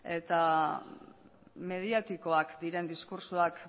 eta mediatikoak diren diskurtsoak